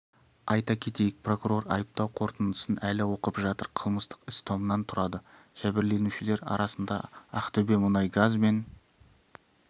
айта кетейік прокурор айыптау қорытындысын әлі оқып жатыр қылмыстық іс томнан тұрады жәбірленушілер арасында ақтөбемұнайгаз мен